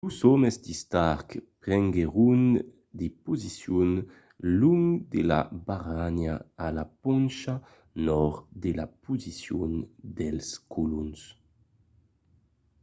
los òmes de stark prenguèron de posicions long de la barranha a la poncha nòrd de la posicion dels colons